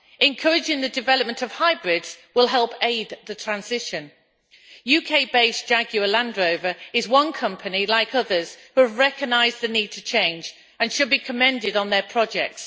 Encouraging the development of hybrids will help aid the transition. UK based Jaguar Landrover is one company, like others, who recognised the need to change and should be commended on their projects.